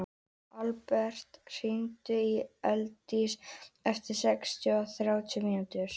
Alberta, hringdu í Eidísi eftir sextíu og þrjár mínútur.